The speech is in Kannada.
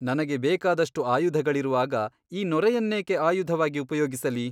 ನನಗೆ ಬೇಕಾದಷ್ಟು ಆಯುಧಗಳಿರುವಾಗ ಈ ನೊರೆಯನ್ನೇಕೆ ಆಯುಧವಾಗಿ ಉಪಯೋಗಿಸಲಿ ?